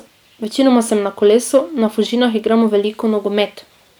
Večinoma sem na kolesu, na Fužinah igramo veliko nogomet ...